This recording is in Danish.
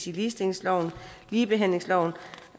i ligestillingsloven og ligebehandlingsloven